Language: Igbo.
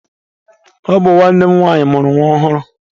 Ọ bụ nwanne m nwanyị mụrụ nwa ọhụrụ.